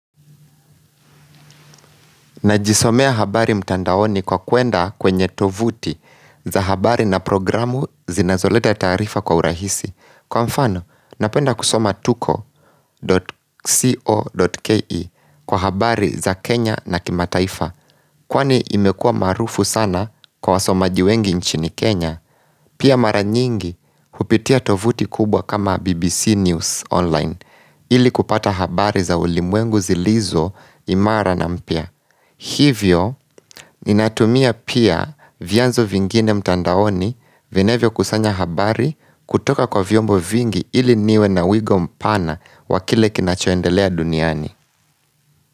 Najisomea habari mtandaoni kwa kuenda kwenye tovuti za habari na programu zinazoleta taarifa kwa urahisi. Kwa mfano, napenda kusoma tuko.co.ke kwa habari za Kenya na kimataifa. Kwani imekua maarufu sana kwa wasomaji wengi nchini Kenya, pia mara nyingi kupitia tovuti kubwa kama BBC News online. Ili kupata habari za ulimwengu zilizo imara na mpya. Hivyo, ni natumia pia vyanzo vingine mtandaoni venevyo kusanya habari kutoka kwa viombo vingi ili niwe na wigo mpana wakile kinachoendelea duniani.